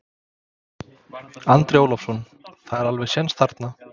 Andri Ólafsson: Það er alveg séns þarna?